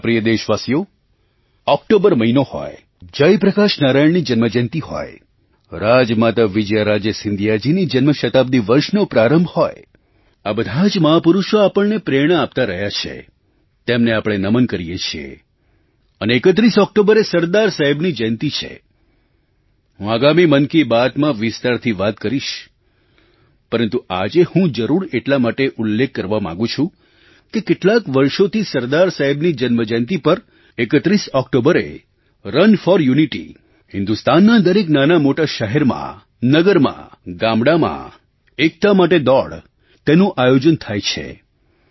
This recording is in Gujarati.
મારા પ્રિય દેશવાસીઓ ઑક્ટોબર મહિનો હોય જયપ્રકાશ નારાયણની જન્મજયંતી હોય રાજમાતા વિજયારાજે સિંધિયાજીની જન્મ શતાબ્દિ વર્ષનો પ્રારંભ હોય આ બધાં જ મહાપુરુષો આપણને બધાને પ્રેરણા આપતા રહ્યા છે તેમને આપણે નમન કરીએ છીએ અને 31 ઑક્ટોબરે સરદાર સાહેબની જયંતી છે હું આગામી મન કી બાતમાં વિસ્તારથી વાત કરીશ પરંતુ આજે હું જરૂર એટલા માટે ઉલ્લેખ કરવા માગું છું કે કેટલાંક વર્ષોથી સરદાર સાહેબની જન્મજયંતી પર 31 ઑક્ટોબરે રન ફોર યુનિટી હિન્દુસ્તાનના દરેક નાનામોટા શહેરમાં નગરમાં ગામડામાં એકતા માટે દોડ તેનું આયોજન થાય છે